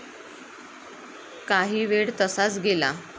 काहीवेळ तसाच गेला.